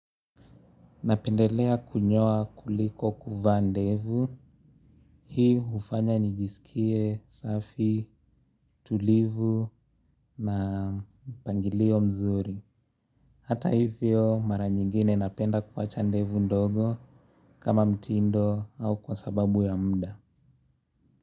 Napendelea kunyoa kuliko kuvaa ndevu. Hii hufanya nijisikie, safi, tulivu na mpangilio mzuri. Hata hivyo mara nyingine napenda kuwacha ndevu ndogo kama mtindo au kwa sababu ya mda.